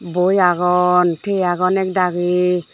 boi agon tiye agon ekdagi.